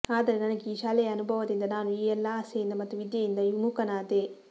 ಆದರೆ ನನಗೆ ಈ ಶಾಲೆಯ ಅನುಭವದಿಂದ ನಾನು ಈ ಎಲ್ಲಾ ಆಸೆಯಿಂದ ಮತ್ತು ವಿದ್ಯೆಯಿಂದ ವಿಮುಖನಾದೆ